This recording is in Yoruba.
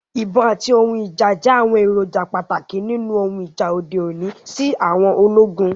Ibon ati ohun ija jẹ awọn eroja pataki ninu ohun ija ode oni si àwọn ologun